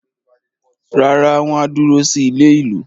Rárá, wọ́n á dúró sí ilé-ìlú.